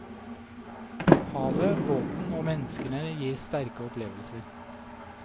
Havet, båten og menneskene gir sterke opplevelser.